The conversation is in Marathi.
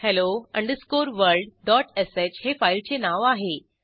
hello underscore world dot sh हे फाईलचे नाव आहे